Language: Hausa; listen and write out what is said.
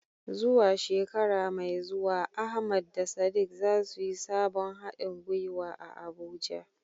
Zuwa shekara mai zuwa, Ahmad da Sadiq za su yi sabon hadin gwiwa a Abuja.